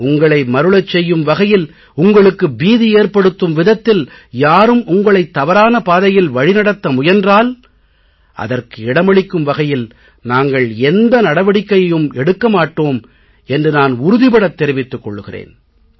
உங்களை மருளச் செய்யும் வகையில் உங்களுக்கு பீதி ஏற்படுத்தும் விதத்தில் யாரும் உங்களைத் தவறான பாதையில் வழிநடத்த முயன்றால் அதற்கு இடமளிக்கும் வகையில் நாங்கள் எந்த நடவடிக்கையும் எடுக்க மாட்டோம் என்று நான் உறுதிபடத் தெரிவித்துக் கொள்கிறேன்